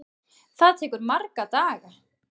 Það tekur marga daga!